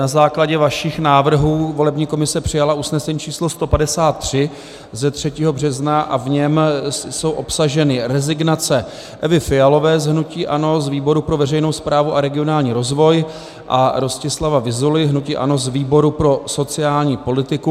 Na základě vašich návrhů volební komise přijala usnesení číslo 153 ze 3. března a v něm jsou obsaženy rezignace Evy Fialové z hnutí ANO z výboru pro veřejnou správu a regionální rozvoj a Rostislava Vyzuly z hnutí ANO z výboru pro sociální politiku.